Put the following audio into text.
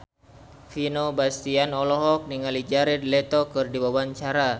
Vino Bastian olohok ningali Jared Leto keur diwawancara